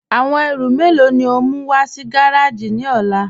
Awọn èrú mélo ni o mú wà sí gàràjì ni ọ̀là?